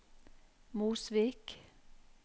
Mosvik